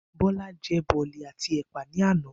Bó̩lá je̩ bò̩lì̩ àti è̩pà ní àná